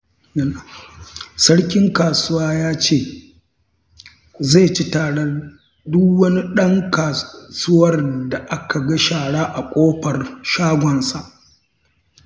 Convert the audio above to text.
Sarkin kasuwa ya ce, zai ci tarar duk wani ɗan kasuwar da aka ga shara a ƙofar shagonsa